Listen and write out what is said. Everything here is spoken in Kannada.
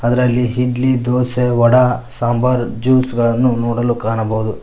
ಅದ್ರಲ್ಲಿ ಹಿಡ್ಲಿ ದೋಸೆ ವಡಾ ಸಾಂಬಾರ್ ಜ್ಯುಸ್ ಗಳನ್ನು ನೋಡಲು ಕಾಣಬಹುದು.